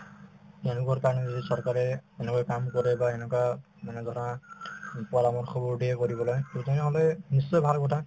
তেওঁলোকৰ কাৰণে যদি চৰকাৰে এনেকুৱাকে কাম কৰে বা এনেকুৱা মানে ধৰা পৰামৰ্শবোৰ দিয়ে কৰিবলৈ to তেনেহলে নিশ্চয় ভাল হব